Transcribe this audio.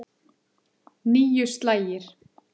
Níu slagir.